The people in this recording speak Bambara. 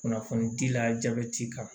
Kunnafoni di la jabɛti kan